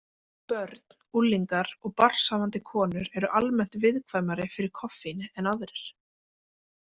Börn, unglingar og barnshafandi konur eru almennt viðkvæmari fyrir koffíni en aðrir.